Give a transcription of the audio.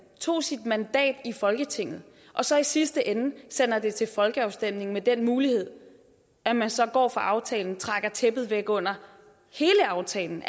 tog sit mandat i folketinget og så i sidste ende sender det til folkeafstemning med den mulighed at man så går fra aftalen og trækker tæppet væk under hele aftalen